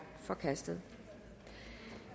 forkastet